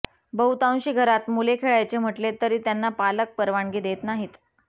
बहुतांशी घरात मुले खेळायचे म्हटले तरी त्यांना पालक परवानगी देत नाहीत